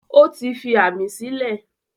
Ó ti fi ámì sílẹ̀.